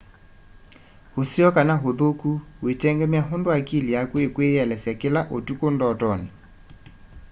useo kana uthuku witengemea undu akili yaku ikwiyielesya kila utuku ndotoni